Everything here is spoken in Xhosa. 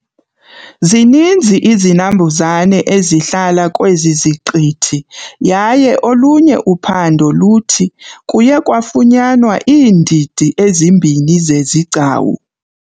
Zininzi izinambuzane ezihlala kwezi ziqithi yaye olunye uphando luthi kuye kwafunyanwa iindidi ezimbini zezigcawu.